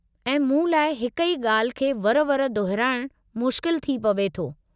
ऐं मूं लाइ हिक ई ॻाल्हि खे वर वर दोहिराइणु मुश्किल थी पवे थो।